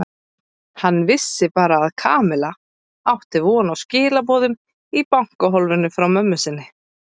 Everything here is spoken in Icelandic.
Hann vissi bara að Kamilla átti von á skilaboðum í bankahólfinu frá mömmu sinni.